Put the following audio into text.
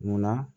Munna